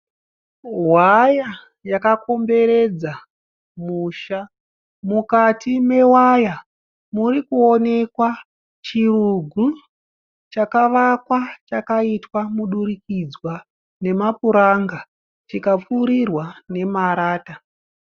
hwaya yakakomberedza musha , mukati mewaya murikuonekwa chirugu chakavakwa chakaitwa mudurukidzwa nemapuranga chikapfurirwa nemarata